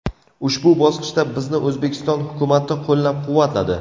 Ushbu bosqichda bizni O‘zbekiston hukumati qo‘llab-quvvatladi.